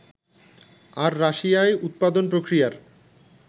আর রাশিয়ায় উৎপাদন-প্রক্রিয়ার